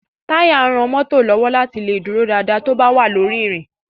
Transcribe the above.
Táyà ran mọ́tò lọ́wọ́ láti lè dúró dáadáa tó bá wà lórí ìrìn.